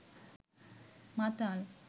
মাতাল